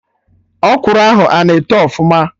Ọkwụrụ ahụ ana eto ọfụma?